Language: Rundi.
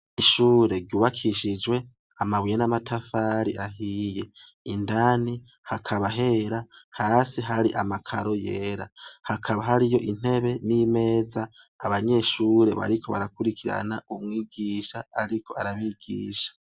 Ishure ryubakishijwe amabuye n'amatafari ahiye. Indani hakaba hera hasi hari amakaro yera. Hakaba hari yo intebe n'imeza abanyeshure bariko barakurikirana umwigisha ariko arabigisha.